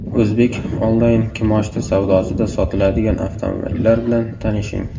O‘zbek onlayn kimoshdi savdosida sotiladigan avtomobillar bilan tanishing.